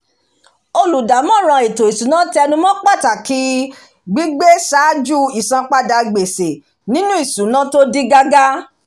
olùdámọ̀ràn ètò ìṣúná tẹnumọ́ pàtàkì gbígbé ṣáájú isanpada gbèsè nínú ìṣúná tó dí gágá